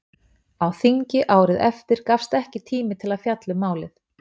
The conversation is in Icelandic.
Á þingi árið eftir gafst ekki tími til að fjalla um málið.